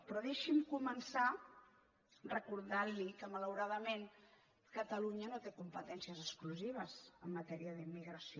però deixi’m començar recordant li que malauradament catalunya no té competències exclusives en matèria d’immigració